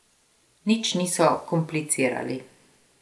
Nič niso komplicirali.